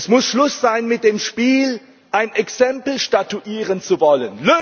Es muss Schluss sein mit dem Spiel, ein Exempel statuieren zu wollen.